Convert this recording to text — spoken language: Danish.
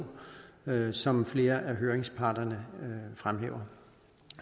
som flere af høringsparterne fremhæver